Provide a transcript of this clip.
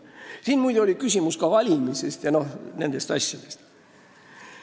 Siin oli ka küsimus valimise ja nende asjade kohta.